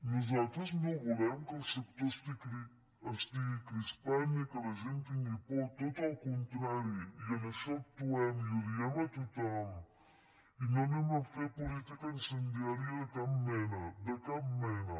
nosaltres no volem que el sector estigui crispat ni que la gent tingui por tot el contrari i en això actuem i ho diem a tothom i no anem a fer política incendiària de cap mena de cap mena